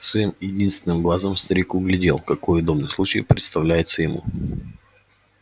своим единственным глазом старик углядел какой удобный случай представляется ему